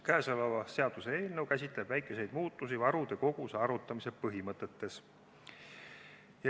Käesolev seaduseelnõu käsitleb väikeseid muutusi varude koguse arvutamise põhimõtetes.